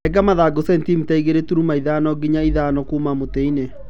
Renga mathangũ centimita igĩrĩ turuma thano nginya ithano kuuma mutĩĩnĩ.